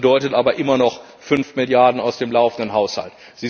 Das bedeutet aber immer noch fünf Milliarden aus dem laufenden Haushalt.